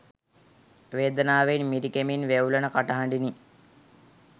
වේදනාවෙන් මිරිකෙමින් වෙව්ලන කටහඬිනි